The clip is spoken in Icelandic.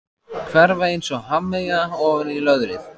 Hverfa einsog hafmeyja ofan í löðrið.